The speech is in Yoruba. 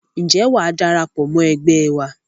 Ǹjẹ́ wàá darapọ̀ mọ́ ẹgbẹ́ wa?